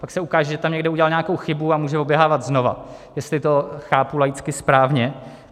Pak se ukáže, že tam někde udělal nějakou chybu, a může oběhávat znova, jestli to chápu laicky správně.